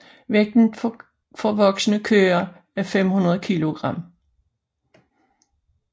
Vægten for voksne køer er 500 kilogram